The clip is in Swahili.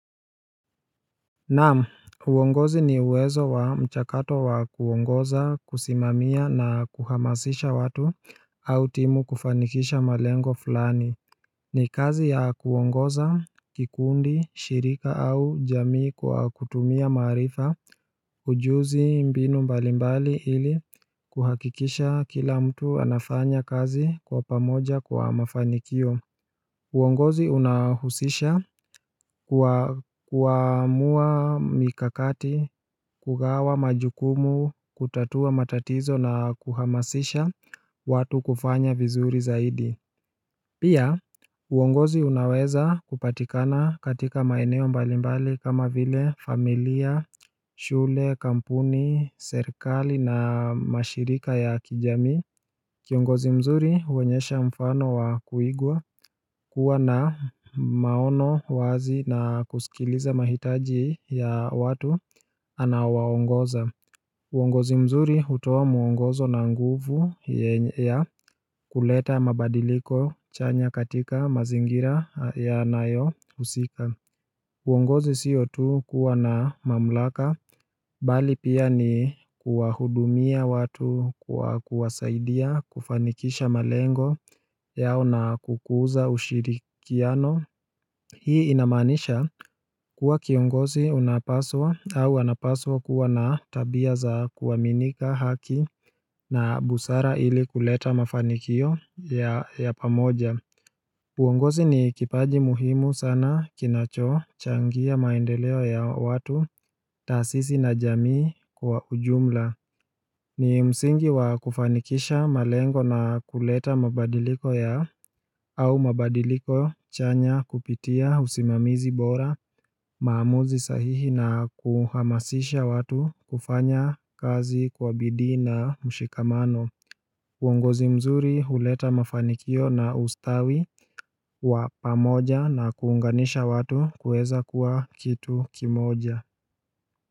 Naam, uongozi ni uwezo wa mchakato wa kuongoza, kusimamia na kuhamasisha watu au timu kufanikisha malengo fulani ni kazi ya kuongoza, kikundi, shirika au jamii kwa kutumia maarifa, ujuzi mbinu mbalimbali ili kuhakikisha kila mtu anafanya kazi kwa pamoja kwa mafanikio uongozi unahusisha kuamua mikakati, kugawa majukumu, kutatua matatizo na kuhamasisha watu kufanya vizuri zaidi Pia uongozi unaweza kupatikana katika maeneo mbalimbali kama vile familia, shule, kampuni, serikali na mashirika ya kijamii Kiongozi mzuri huonyesha mfano wa kuigwa, huwa na maono wazi na kusikiliza mahitaji ya watu anaowaongoza uongozi mzuri hutoa muongozo na nguvu ya kuleta mabadiliko chanya katika mazingira yanayohusika uongozi siyo tu kuwa na mamlaka, mbali pia ni kuwahudumia watu kwa kuwasaidia kufanikisha malengo yao na kukuza ushirikiano Hii inamaanisha kuwa kiongozi unapaswa au anapaswa kuwa na tabia za kuaminika, haki na busara ili kuleta mafanikio ya pamoja uongozi ni kipaji muhimu sana kinachochangia maendeleo ya watu, taasisi na jamii kwa ujumla ni msingi wa kufanikisha malengo na kuleta mabadiliko ya au mabadiliko chanya kupitia usimamizi bora maamuzi sahihi na kuhamasisha watu kufanya kazi kwa bidhi na mshikamano uongozi mzuri huleta mafanikio na ustawi wa pamoja na kuunganisha watu kuweza kuwa kitu kimoja.